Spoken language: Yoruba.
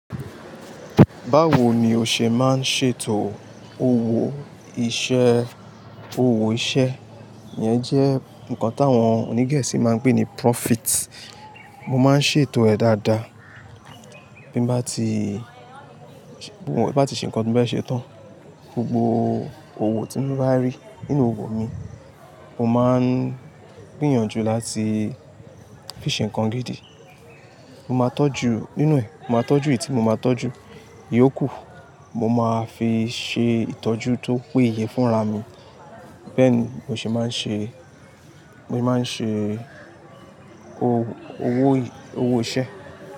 Báwo ni o ṣe máa ń ṣètò owó iṣẹ́? Owó iṣẹ́ e yẹn jẹ́ nǹkan tí àwọn onígẹ̀sì máa ń pè ní profit. Mo máa ń ṣètò ẹ̀ dáadáa. Bí mo bá ti ṣe ǹnkan ti mo fe ṣe tán, gbogbo owó tí mo bá rí nínú owó mi, mo máa ń gbìyànjú láti fi ṣe ǹnkan gidi. Mo máa tọ́jú nínú ẹ̀, mo máa tọ́jú ètì mo, màá tọ́jú ìyókù. Mo máa fi ṣe ìtọ́jú tó péye fún ra mi. Bẹ́ẹ̀ ni mo ṣe máa ń ṣe, mo máa ń ṣe owó, owó iṣẹ́.